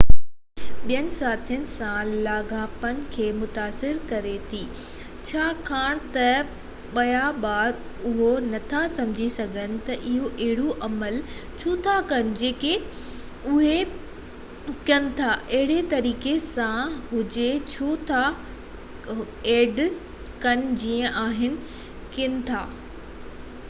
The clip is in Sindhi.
add ٻين ساٿين سان لاڳاپن کي متاثر ڪري ٿي ڇاڪاڻ ته ٻيا ٻار اهو نٿا سمجهي سگهن ته اهي اهڙو عمل ڇو ٿا ڪن جيڪي اهي ڪن ٿا اهڙي طريقي سان هجي ڇو ٿا ڪن جيئن اهي ڪن ٿا يا انهن جو ميچيورٽي ليول مختلف آهي